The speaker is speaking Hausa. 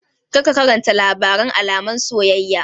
Kar ka karanta labaren almaran soyayya!